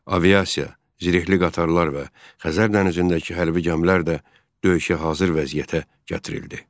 Aviasiya, zirehli qatarlar və Xəzər dənizindəki hərbi gəmilər də döyüşə hazır vəziyyətə gətirildi.